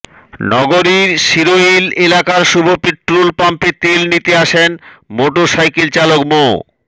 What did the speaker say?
নগরীর শিরোইল এলাকার শুভ পেট্রোল পাম্পে তেল নিতে আসেন মোটরসাইকেল চালক মো